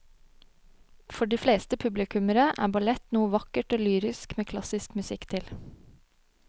For de fleste publikummere er ballett noe vakkert og lyrisk med klassisk musikk til.